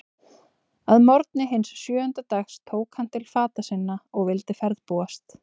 Að morgni hins sjöunda dags tók hann til fata sinna og vildi ferðbúast.